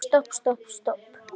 Stopp, stopp, stopp.